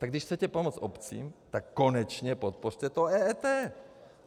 Tak když chcete pomoct obcím, tak konečně podpořte to EET!